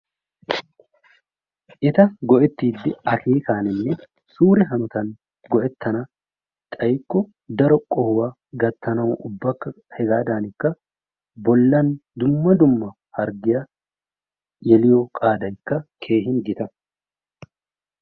Eta go"ettiidi akeekaninne sure hanotan go"ettana xayikko daro qohuwaa gattanawu ubba hegaadinikka bollan dumma dumma bollaan harggiyaa yelliyoo qaadaykka keehin giita.